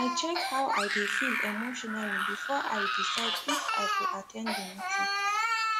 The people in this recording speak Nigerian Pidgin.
i check how i dey feel emotionally before i decide if i go at ten d the meeting